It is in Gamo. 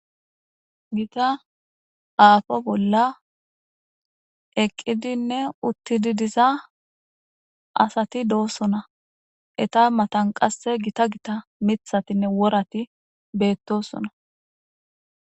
gita aafo bolla eqqidinne uttidi diza asati doossona eta matan qasse gita gita mithatinne worati beettosona